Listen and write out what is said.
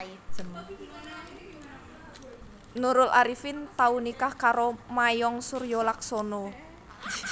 Nurul Arifin tau nikah karo Mayong Suryolaksono